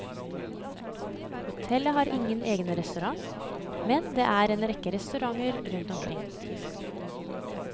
Hotellet har ikke egen restaurant, men det er en rekke restauranter rundt omkring.